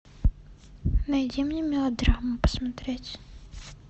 найди мне мелодраму посмотреть